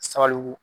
Sabalibugu